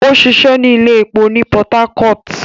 O ṣiṣẹ ni ile-iṣẹ épo ni Port Harcourt